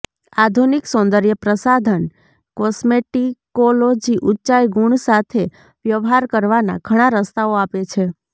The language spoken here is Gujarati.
આધુનિક સૌંદર્યપ્રસાધન કોસ્મેટિકોલોજી ઉંચાઇ ગુણ સાથે વ્યવહાર કરવાના ઘણા રસ્તાઓ આપે છે